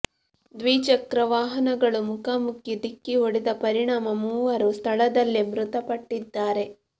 ದ್ವಿಚಕ್ರ ವಾಹನಗಳು ಮುಖಾಮುಖಿ ಡಿಕ್ಕಿ ಹೊಡೆದ ಪರಿಣಾಮ ಮೂವರು ಸ್ಥಳದಲ್ಲೇ ಮೃತಪಟ್ಟಿದ್ದಾರೆ